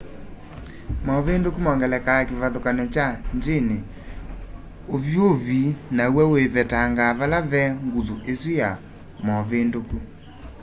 movinduku mongelaa kivathukany'o kya njini unyuvi naw'o wivetangaa vala ve nguthu isu ya movinduku